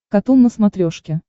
катун на смотрешке